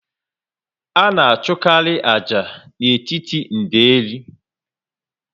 A na achụkarị ájá n'etiti ndeli